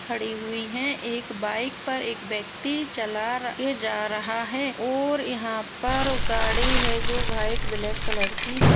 खड़ी हुई हैं। एक बाइक पर एक व्यक्ति चला के जा रहा है और यहां पर गाड़ी है जो व्हाइट ब्लैक कलर की हैं।